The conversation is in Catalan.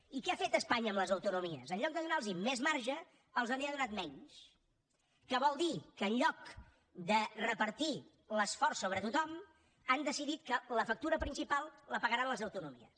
i què ha fet espanya amb les autonomies en lloc de donarlos més marge els n’ha donat menys que vol dir que en lloc de repartir l’esforç sobre tothom han decidit que la factura principal la pagaran les autonomies